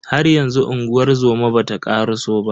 Haryanzu unguwar zoma bata karaso ba.